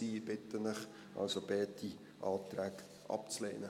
Ich bitte Sie also, beide Anträge abzulehnen.